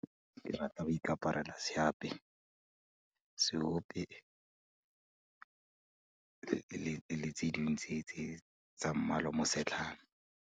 Ke rata go ikaparela seape, seope le tse dingwe tsa mmala o mo setlhana.